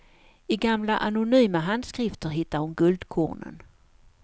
I gamla anonyma handskrifter hittar hon guldkornen.